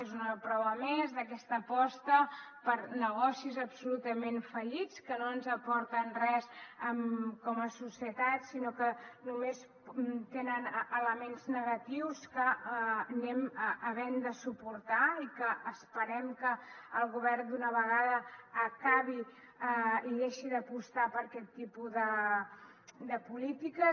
és una prova més d’aquesta aposta per negocis absolutament fallits que no ens aporten res com a societat sinó que només tenen elements negatius que anem havent de suportar i que esperem que el govern d’una vegada acabi i deixi d’apostar per aquest tipus de polítiques